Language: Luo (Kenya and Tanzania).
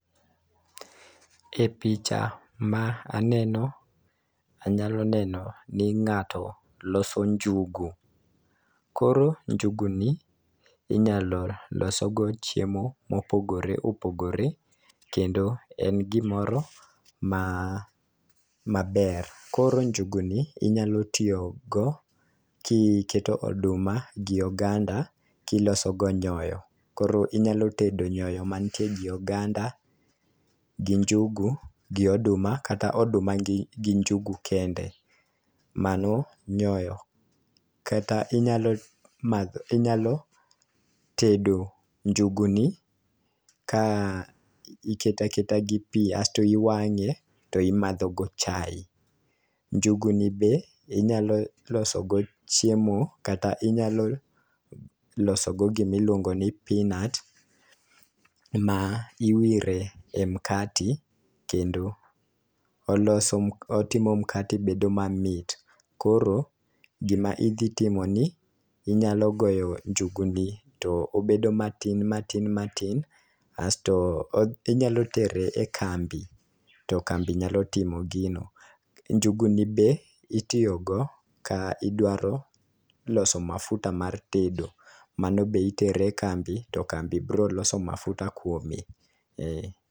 E picha ma aneno anyalo neno ni ng'ato loso njugu . Koro njugu ni inyalo loso gi chiemo mopogore opogore kendo en gimoro ma maber. Koro njugu ni inyalo tiyo go kiketo oduma gi oganda kiloso go nyoyo . Koro inyalo tedo nyyo mantie gi oganda gi njugu gi oduma kata oduma gi njugu kende mano nyoyo, kata inyalo madho inyalo tedo njugu ni ka ikete aketa gi pii asto iwang'e to imadho go chai. Njugu ni be inyalo loso go chiemo kata inyalo loso go gimi luongo ni peanut ma iwire mkate kendo oloso mk otimo mkati bedo mamit. Koro gima idhi timo nni inyalo goyo njugu ni to obedo matin matin matin asto odhi inyalo tere e kambi to kambi nyalo timo gino .Njugu ni be itiyo go ka idwaro loso mafuta mar tedo mano be itere kambi to kambi bro loso mafuta kuome.